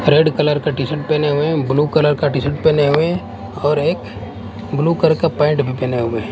Red colour का t-shirt पेहने हुए हैं ब्लू कलर का टी-शर्ट पेहने हुए और एक ब्लू कलर का पैंट भी पेहने हुए हैं।